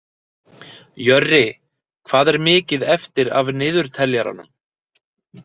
Jörri, hvað er mikið eftir af niðurteljaranum?